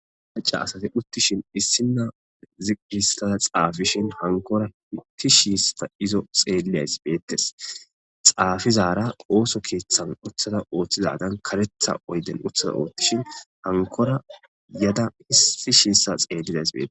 maca asate uttishin issinna zigistaa xaafishin hankora hitti shiista izo xeeleyays beettes xaafizara ooso keeththan uthada ooththizadan karetha oyden uthaza oothtishin hankora yada issi shiissa xeelidays beee